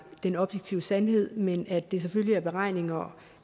den objektive sandhed men at det selvfølgelig er beregninger